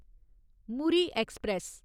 Muri express